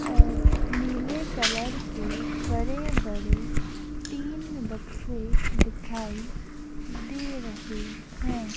अ नीले नीले कलर के बड़े बड़े तीन बक्से दिखाई दे रहे है।